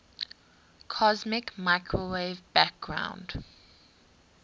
cosmic microwave background